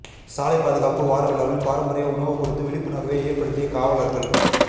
சாலை பாதுகாப்பு வாரவிழாவில் பாரம்பரிய உணவு கொடுத்து விழிப்புணர்வை ஏற்படுத்திய காவலர்கள்